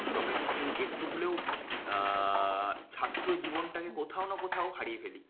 আমরা কিন্তু একটু হলেও আহ ছাত্র জীবনটাকে কোথাও না কোথাও হারিয়ে ফেলি।